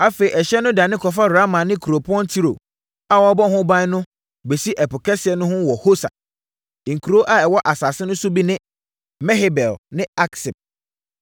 Afei ɛhyeɛ no dane kɔfa Rama ne Kuropɔn Tiro a wɔabɔ ho ban no bɛsi Ɛpo Kɛseɛ no ho wɔ Hosa. Nkuro a ɛwɔ asase no so bi ne Mehebel ne Aksib,